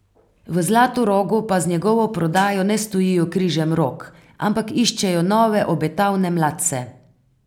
V Zlatorogu pa z njegovo prodajo ne stojijo križem rok, ampak iščejo nove obetavne mladce.